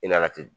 I n'a ten